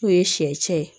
N'o ye sɛ cɛn ye